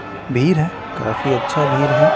भीर है काफी अच्छा भीर है।